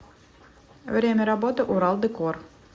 время работы урал декор